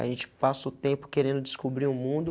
A gente passa o tempo querendo descobrir o mundo,